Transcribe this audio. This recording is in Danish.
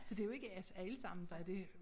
Så det jo ikke os alles ammen der er det